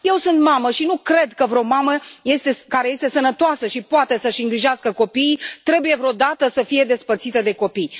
Eu sunt mamă și nu cred că vreo mamă, care este sănătoasă și poate să și îngrijească copiii trebuie vreodată să fie despărțită de copii.